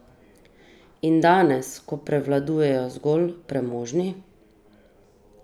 In danes, ko prevladujejo zgolj premožni?